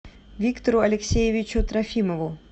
виктору алексеевичу трофимову